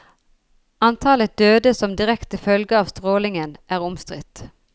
Antallet døde som direkte følge av strålingen er omstridt.